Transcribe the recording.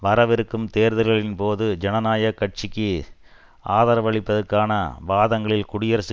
வரவிருக்கும் தேர்தல்களின் போது ஜனநாயக கட்சிக்கு ஆதரவளிப்பதற்கான வாதங்களில் குடியரசு